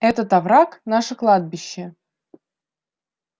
этот овраг наше кладбище